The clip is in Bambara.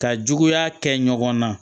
Ka juguya kɛ ɲɔgɔn na